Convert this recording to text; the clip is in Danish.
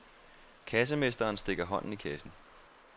Kassemesteren stikker hånden i kassen.